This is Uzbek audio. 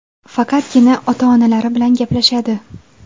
Faqatgina ota-onalari bilan gaplashadi.